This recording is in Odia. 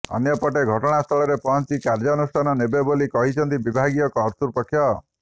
ଅନ୍ୟପଟେ ଘଟଣାସ୍ଥଳରେ ପହଞ୍ଚି କାର୍ଯ୍ୟାନୁଷ୍ଠାନ ନେବେ ବୋଲି କହିଛନ୍ତି ବିଭାଗୀୟ କର୍ତ୍ତୃପକ୍ଷ